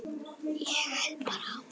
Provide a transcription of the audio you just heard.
Ég held bara áfram.